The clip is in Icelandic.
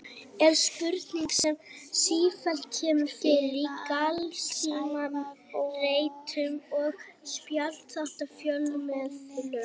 er spurning sem sífellt kemur fyrir í glanstímaritum og spjallþáttum fjölmiðla.